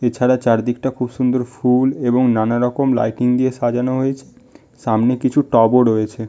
এছাড়া চারদিকটা খুব সুন্দর ফুল এবং নানারকম লাইটিং দিয়ে সাজানো হয়েছে সামনে কিছু টব ও রয়েছে।